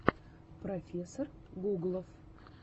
профессор гуглов